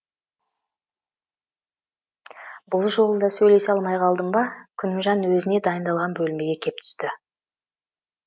бұл жолы да сөйлесе алмай қалдым ба күнімжан өзіне дайындалған бөлмеге кеп түсті